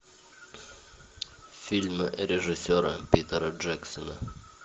фильмы режиссера питера джексона